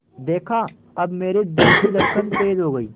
देखा अब मेरे दिल की धड़कन तेज़ हो गई